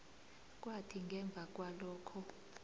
kwathi ngemva kwalokho